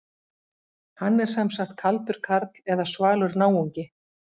Hann er sem sagt kaldur karl eða svalur náungi.